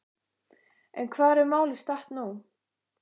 En hvar er málið statt nú?